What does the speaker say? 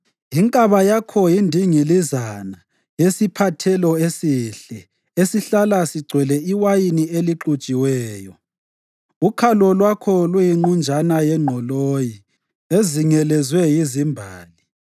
Inkaba yakho yindingilizana yesiphathelo esihle esihlala sigcwele iwayini elixutshiweyo. Ukhalo lwakho luyinqunjana yengqoloyi ezingelezwe yizimbali.